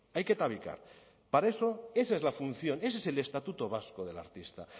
hay que tabicar para eso esa es la función ese es el estatuto básico del artista